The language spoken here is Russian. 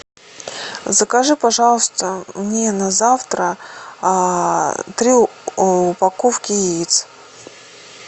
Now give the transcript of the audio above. закажи пожалуйста мне на завтра три упаковки яиц